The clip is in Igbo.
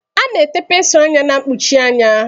A na-ete pensụl anya na-mkpuchi anya.